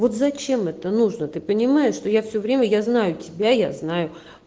вот зачем это нужно ты понимаешь что я все время я знаю тебя я знаю